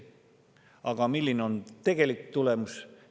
Aga milline on tegelik tulemus?